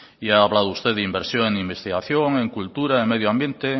y ha hablado usted de inversión en investigación en cultura en medio ambiente